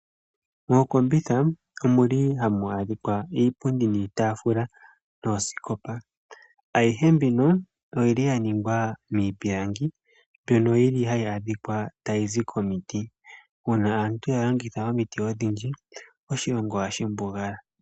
Mookombitha omuli hamu adhikwa iipundi, niitafula, noosikopa, ayihe mbino oyili ya ningwa miipilangi, mbyono yili hayi adhikwa tayi zi komiti. Una aantu ya longitha omiti odhindji, oshilongo ohashi mbugala.